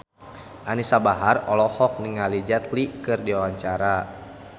Anisa Bahar olohok ningali Jet Li keur diwawancara